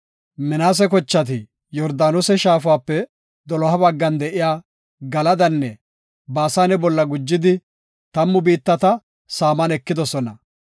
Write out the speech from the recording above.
Minaase kochati Yordaanose shaafape doloha baggan de7iya Galadanne Baasane bolla gujidi tammu biittata saaman ekidosona.